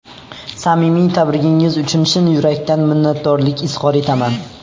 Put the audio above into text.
Samimiy tabrigingiz uchun chin yurakdan minnatdorlik izhor etaman.